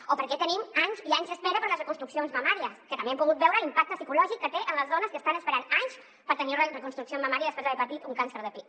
o per què tenim anys i anys d’espera per a les reconstruccions mamàries que també hem pogut veure l’impacte psicològic que té en les dones que estan esperant anys per tenir una reconstrucció mamària després d’haver patit un càncer de pit